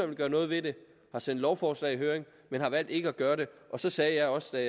vil gøre noget ved det har sendt lovforslag i høring men har valgt ikke at gøre det så sagde jeg også